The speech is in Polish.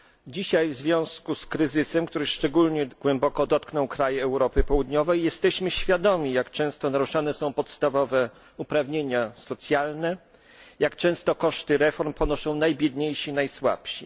Dzisiaj w związku z kryzysem, który szczególnie głęboko dotknął kraje Europy Południowej, jesteśmy świadomi, jak często naruszane są podstawowe uprawnienia socjalne, jak często koszty reform ponoszą najbiedniejsi, najsłabsi.